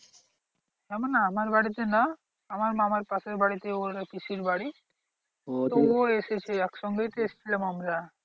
আমার না আমার বাড়িতে না আমার মামার পাশের বাড়িতে ওটা পিসির বাড়ি। ও এসেছে একসঙ্গেই তো এসেছিলাম আমরা।